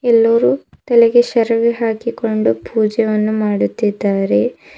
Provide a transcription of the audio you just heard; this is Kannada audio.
ಎಲ್ಲರೂ ತಲೆಗೆ ಶೇರವಿ ಹಾಕಿಕೊಂಡು ಪೂಜೆಯನ್ನು ಮಾಡುತ್ತಿದ್ದಾರೆ.